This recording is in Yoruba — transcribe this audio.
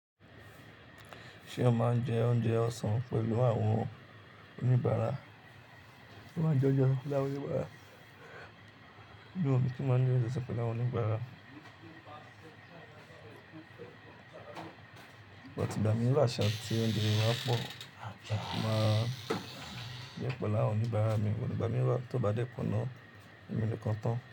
Ṣé o máa ń jẹ oúnjẹ ọ̀sán pẹ̀lú àwọn oníbaára? Mo máa jẹ́ ọjọ́ lárú òníbára, ní òmi tó máa ní ounjẹ sẹ́pẹ́ẹ̀lẹ̀ àwọn oníbára. Mo ti gbà mí lásán tí oúnjẹ wa pọ̀, àjá máa jẹ́ pẹ̀lú àwọn oníbára mi, mo ti gbà mí wá tí ó bá dẹ́kun náà, ẹmi lè kọ́ ọ tán.